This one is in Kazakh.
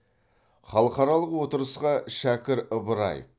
халықаралық отырысқа шәкір ыбыраев